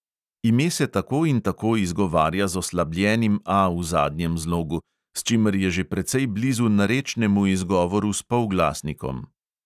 Ime se tako in tako izgovarja z oslabljenim A v zadnjem zlogu, s čimer je že precej blizu narečnemu izgovoru s polglasnikom.